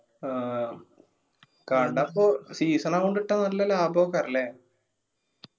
ആ കട ഇപ്പോ season ആവുമ്പം ഇട്ട നല്ല ലാഭം ഒക്കാരല്ലേ